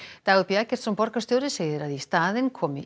Dagur b Eggertsson borgarstjóri segir í að í staðinn komi